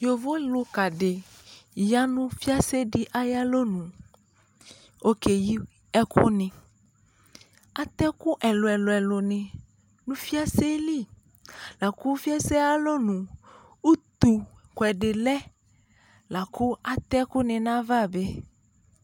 Yovolʋka dɩ ya nʋ fɩase dɩ ayʋ alɔnu Ɔkeyi ɛkʋnɩ Atɛ ɛkʋ ɛlʋ-ɛlʋnɩ nʋ fɩase yɛ li la kʋ fɩase yɛ ayʋ alɔnu, utukʋɛdɩ lɛ la kʋ atɛ ɛkʋnɩ nʋ ayava bɩ